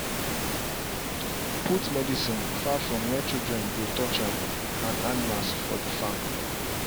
put medicine far from where children go touch am and animals for the farm.